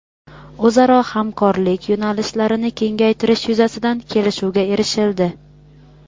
o‘zaro hamkorlik yo‘nalishlarini kengaytirish yuzasidan kelishuvga erishildi.